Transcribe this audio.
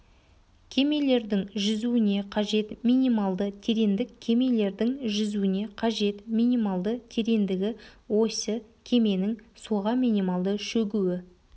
кемелердің жүзуіне қажет минималды тереңдік кемелердің жүзуіне қажет минимальды тереңдігі осі кеменің суға минималды шөгуі